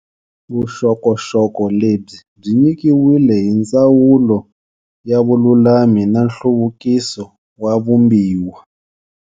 Vuxokoxoko lebyi byi nyikiwile hi Ndzawulo ya Vululami na Nhluvukiso wa Vumbiwa.